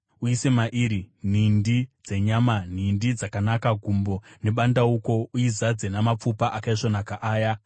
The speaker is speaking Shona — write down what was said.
Uise mairi nhindi dzenyama, nhindi dzakanaka, gumbo nebandauko. Uizadze namapfupa akaisvonaka aya;